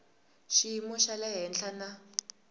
xiyimo xa le henhla na